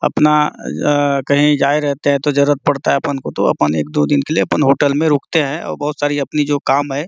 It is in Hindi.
अपना अ कहि जाए रहते है तो जरूरत पड़ता है अपन को तो अपन एक दो दिन के लिए होटल में रुकते है और बहोत सारी अपनी जो काम है।